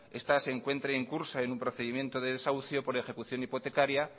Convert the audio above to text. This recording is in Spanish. esta se encuentre en curso en un procedimiento de desahucio por ejecución hipotecaria